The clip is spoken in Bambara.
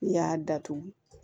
N'i y'a datugu